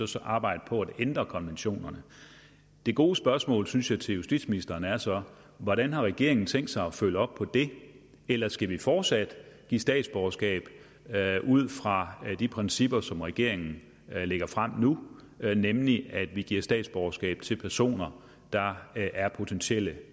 så arbejde på at ændre konventionerne det gode spørgsmål synes jeg til justitsministeren er så hvordan har regeringen tænkt sig at følge op på det eller skal vi fortsat give statsborgerskab ud fra de principper som regeringen lægger frem nu nemlig at vi giver statsborgerskab til personer der er potentielle